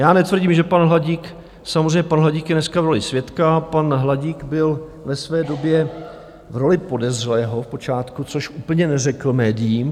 Já netvrdím, že pan Hladík, samozřejmě pan Hladík je dneska v roli svědka, pan Hladík byl ve své době v roli podezřelého v počátku, což úplně neřekl médiím.